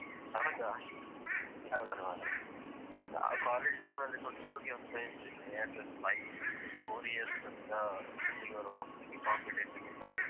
ಹೌದಾ super ಮಾರ್ರೆ ನಾವು college time ಅಲ್ಲಿ football ಗೆ ಹೋಗ್ತಾ ಇದ್ವಿ ನಿಯರ್ಲಿ ಒಂದು five four years ತನ್ಕ ಎಲ್ಲಿಗಾದ್ರು ಹೋಗತಿದ್ವಿ competition college ಅಲ್ಲಿ.